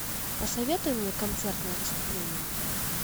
посоветуй мне концертное выступление